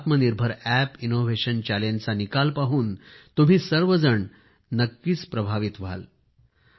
आत्मनिर्भर app innovation चॅलेंजचा निकाल पाहून तुम्ही सर्वजण नक्कीच प्रभावित होणार आहे